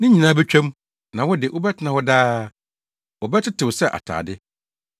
Ne nyinaa betwa mu; na wo de, wobɛtena hɔ daa; wɔbɛtetew sɛ atade.